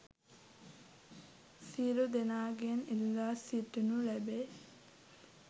සියලු දෙනාගෙන් ඉල්ලා සිටිනු ලැබේ